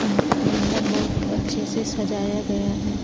म मंडप बहुत अच्छे से सजाया गया है।